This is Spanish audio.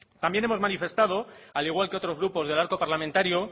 también hemos manifestando al igual de otros grupos del parlamentario